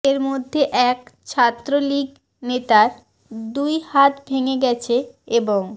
এর মধ্যে এক ছাত্রলীগ নেতার দুই হাত ভেঙে গেছে এবং